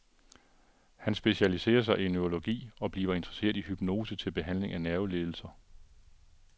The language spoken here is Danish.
Han specialiserer sig i neurologi og bliver interesseret i hypnose til behandling af nervelidelser.